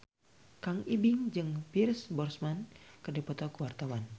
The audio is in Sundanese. Kang Ibing jeung Pierce Brosnan keur dipoto ku wartawan